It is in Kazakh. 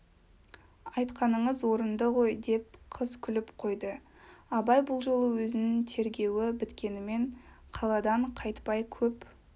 айтқаныңыз орынды ғой деп қыз күліп қойды абай бұл жолы өзінің тергеуі біткенімен қаладан қайтпай көп